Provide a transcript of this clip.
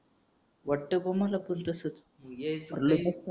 वाट बा मला पण तसच